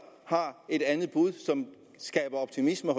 har et andet bud som skaber optimisme